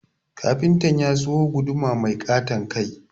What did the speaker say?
Kafinta ya sayo guduma mai ƙaton kai